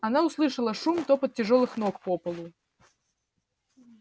она услышала шум топот тяжёлых ног по полу